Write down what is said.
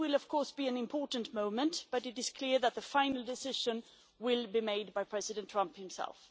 This will be an important moment, but it is clear that the final decision will be made by President Trump himself.